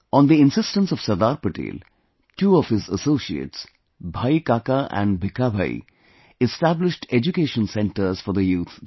On the insistence of Sardar Patel, two of his associates, Bhai Kaka and Bhikha Bhai, established education centres for the youth there